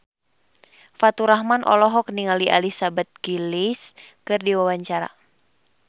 Faturrahman olohok ningali Elizabeth Gillies keur diwawancara